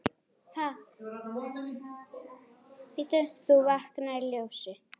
þú vaknar í ljósi.